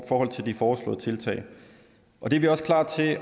forhold til de foreslåede tiltag det er vi også klar til at